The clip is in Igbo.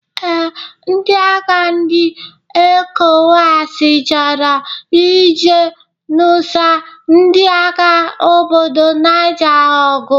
Ee, ndị agha ndị ECOWAS chọrọ ije nusa ndị agha obodo Naija ọgụ.